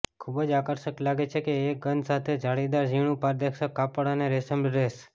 ખૂબ જ આકર્ષક લાગે છે એક ગંધ સાથે જાળીદાર ઝીણું પારદર્શક કાપડ અને રેશમ ડ્રેસ